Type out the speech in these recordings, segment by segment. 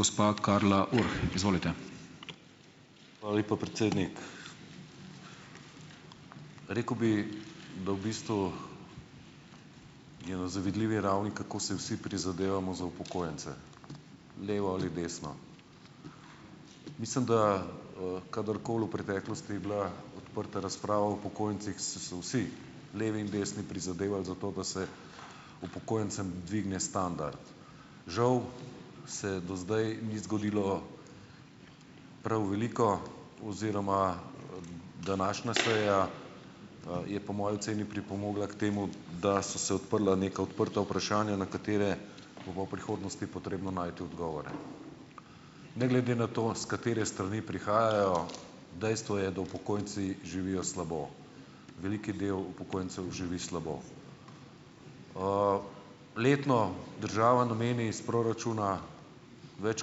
Hvala lepa, predsednik. Rekel bi, da v bistvu je na zavidljivi ravni, kako si vsi prizadevamo za upokojence, levo ali desno. Mislim, da kadarkoli v preteklosti je bila odprta razprava o upokojencih, so se vsi, levi in desni, prizadevali za to, da se upokojencem dvigne standard. Žal se do zdaj ni zgodilo prav veliko oziroma današnja seja, je po moji oceni pripomogla k temu, da so se odprla neka odprta vprašanja, na katera bo pa v prihodnosti potrebno najti odgovore. Ne glede na to, s katere strani prihajajo, dejstvo je, da upokojenci živijo slabo. Velik del upokojencev živi slabo. Letno država nameni s proračuna več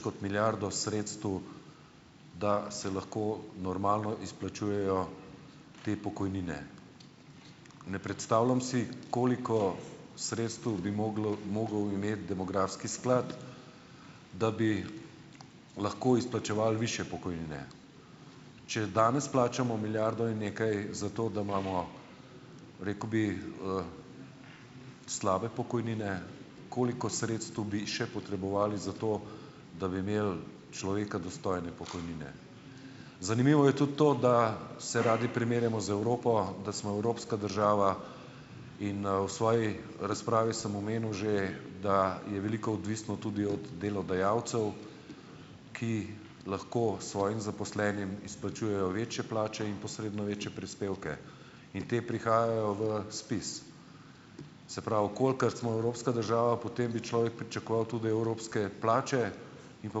kot milijardo sredstev, da se lahko normalno izplačujejo te pokojnine. Ne predstavljam si, koliko sredstev bi moglo mogel imeti demografski sklad, da bi lahko izplačeval višje pokojnine. Če danes plačamo milijardo in nekaj za to, da imamo, rekel bi, slabe pokojnine, koliko sredstev bi še potrebovali za to, da bi imeli človeka dostojne pokojnine. Zanimivo je tudi to, da se radi primerjamo z Evropo, da smo evropska država. In, v svoji razpravi sem omenil že, da je veliko odvisno tudi od delodajalcev, ki lahko svojim zaposlenim izplačujejo večje plače in posredno večje prispevke in ti prihajajo v SPIZ. Se pravi, kolikor smo evropska država, potem bi človek pričakoval tudi evropske plače in pa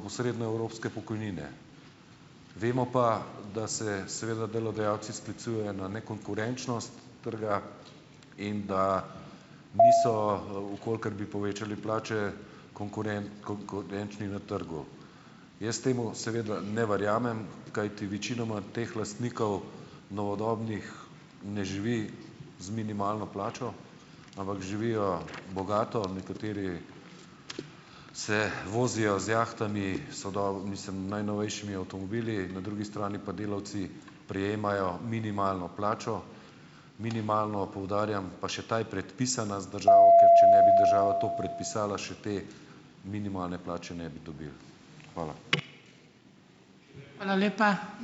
posredno evropske pokojnine. Vemo pa, da se seveda delodajalci sklicujejo na nekonkurenčnost trga, in da niso, v kolikor bi povečali plače, konkurenčni na trgu. Jaz temu seveda ne verjamem, kajti večinoma teh lastnikov novodobnih ne živi z minimalno plačo, ampak živijo bogato, nekateri se vozijo z jahtami, mislim najnovejšimi avtomobili, na drugi strani pa delavci prejemajo minimalno plačo. Minimalno, poudarjam, pa še ta je predpisana z države, ker če ne bi država to predpisala, še te minimalne plače ne bi dobili. Hvala.